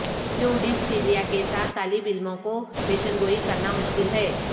کیوں ڈیسیکسیلیا کے ساتھ طالب علموں کو پیشن گوئی کرنا مشکل ہے